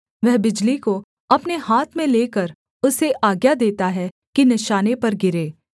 वह बिजली को अपने हाथ में लेकर उसे आज्ञा देता है कि निशाने पर गिरे